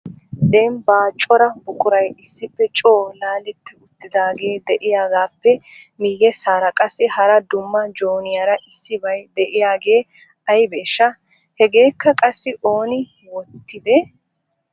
Dembba cora buquray issippe coo laaletti uttidaage de'iyaagaappe miyyesaara qassi hara dumma jooniyaara issibay de'iyaagee aybeeshsha? Hegakka qassi ooni wottide?